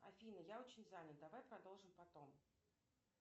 афина я очень занят давай продолжим потом